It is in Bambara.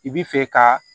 I bi fɛ ka